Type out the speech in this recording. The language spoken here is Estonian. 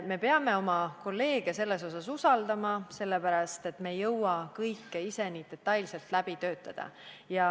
Me peame oma kolleege selles asjas usaldama, me ei jõua kõike ise nii detailselt läbi töötada.